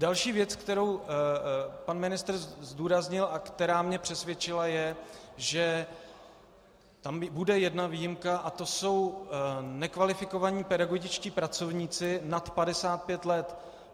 Další věc, kterou pan ministr zdůraznil a která mě přesvědčila, je, že tam bude jedna výjimka, a to jsou nekvalifikovaní pedagogičtí pracovníci nad 55 let.